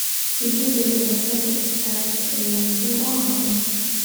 Dhisida shabakad iskaashi ayaa muhiim u ah horumarka.